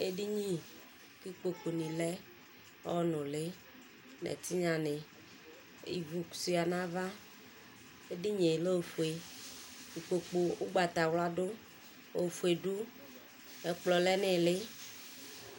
Edini kʋ ikpokʋ ni lɛ ɔnʋ lɛ ɛtinya ni ivʋ suia nʋ ava edinie lɛ ofue ikpokʋ ʋgbatawla dʋ ofue dʋ ɛkplɔ lɛnʋ ili